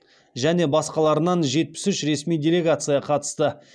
және басқаларынан жетпіс үш ресми делегация қатысты